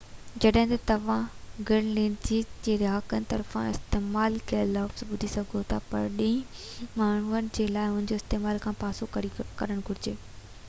جڏهن ته توهان گرينلينڊڪ جي رهاڪن طرفان استعمال ڪيل لفظ ٻڌي سگهو ٿا پرڏيهي ماڻهن کي ان جي استعمال کان پاسو ڪرڻ گهرجي